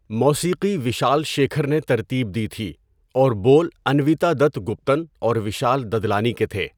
موسیقی وشال شیکھر نے ترتیب دی تھی، اور بول انویتا دت گپتن اور وشال ددلانی کے تھے۔